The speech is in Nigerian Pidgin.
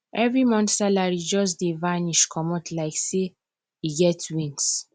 every month salary just dey vanish comot like say e get wings